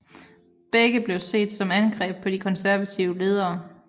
Begge blev set som angreb på de konservatives ledere